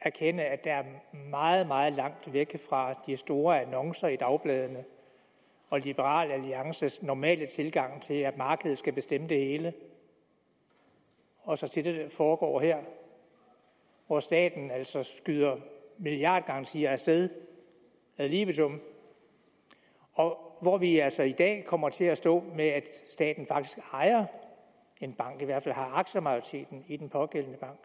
erkende at der er meget meget langt fra de store annoncer i dagbladene og liberal alliances normale tilgang til at markedet skal bestemme det hele og så til det der foregår her hvor staten skyder milliardgarantier af sted ad libitum og hvor vi altså i dag kommer til at stå i at staten faktisk ejer en bank eller i hvert fald har aktiemajoriteten i den pågældende bank